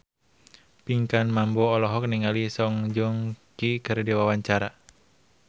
Pinkan Mambo olohok ningali Song Joong Ki keur diwawancara